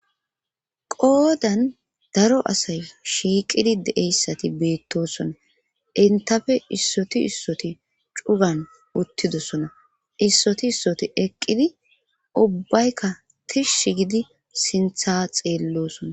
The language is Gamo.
qoodan daro asay shiiqidi deeyssati beettosona intafe issoti issoti cugan uttidosona issoti issoti eqqidi ubbaykka tishsh gidi sintha xeellosona